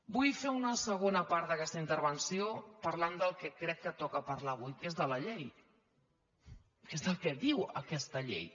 vull fer una segona part d’aquesta intervenció parlant del que crec que toca parlar avui que és de la llei que és el que diu aquesta llei